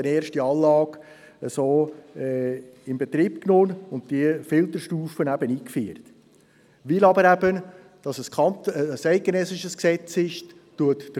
Herr Grossratsvizepräsident, können Sie bitte Grossrat Flück in die Rednerliste einloggen?